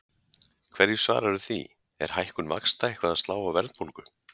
Hverju svararðu því, er hækkun vaxta eitthvað að slá á verðbólgu?